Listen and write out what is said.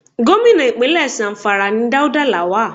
Gómìnà Ìpínlẹ̀ Zamfara ni Dauda Lawal.